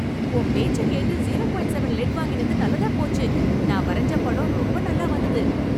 உன் பேச்சக் கேட்டு ஜீரோ பாயிண்ட் செவன் லெட் வாங்கினது நல்லதா போச்சு. நான் வரைஞ்சப் படம் ரொம்ப நல்லா வந்துது.